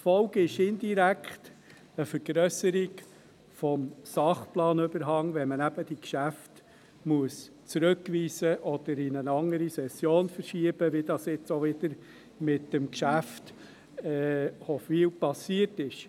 Die Folge ist indirekt eine Vergrösserung des Sachplanüberhangs, wenn man eben die Geschäfte zurückweisen oder sie in eine andere Session verschieben muss, wie dies auch wieder mit dem Geschäft Hofwil passiert ist.